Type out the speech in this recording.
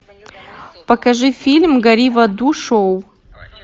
покажи фильм гори в аду шоу